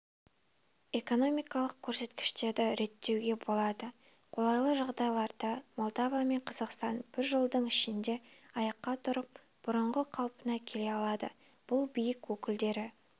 экономикалық көрсеткіштерді реттеуге болады қолайлы жағдайларда молдова мен қазақстан бір жылдың ішінде аяққа тұрып бұрынғы қалпына келе алады бұл билік өкілдері